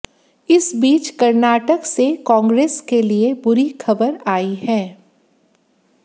इस बीच कर्नाटक से कांग्रेस के लिए बुरी खबर आई है